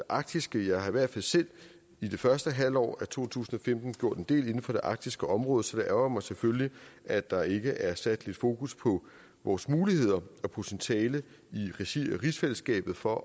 arktiske jeg har i hvert fald selv i det første halvår af to tusind og femten gjort en del inden for det arktiske område så det ærgrer mig selvfølgelig at der ikke er sat lidt fokus på vores muligheder og potentiale i regi af rigsfællesskabet for